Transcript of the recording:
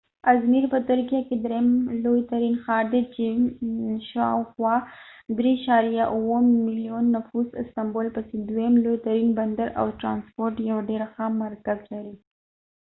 ازمیر په ترکیه کې دریم لوی ترین ښار دی چې شاوخوا 3.7 ملیون نفوس استنبول پسې دویم لوی ترین بندر او د ټرانسپورټ یو ډېر ښه مرکز لري